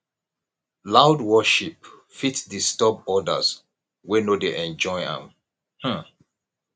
loud worship fit disturb odirs wey no dey enjoy am um